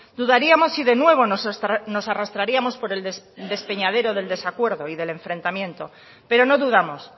dudaríamos si de nuevo nos arrastraríamos por el despeñadero del desacuerdo y del enfrentamiento pero no dudamos